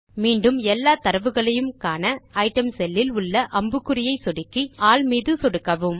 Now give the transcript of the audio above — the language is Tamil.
மீண்டும் எல்லா தரவுகளையும் காண ஐட்டம் செல் இல் உள்ள அம்புக்குறியை சொடுக்கி ஆல் மீது சொடுக்கவும்